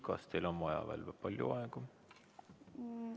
Kas teil on vaja veel palju aega?